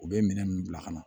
U bɛ minɛn ninnu bila ka na